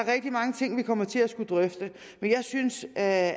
er rigtig mange ting vi kommer til at skulle drøfte men jeg synes at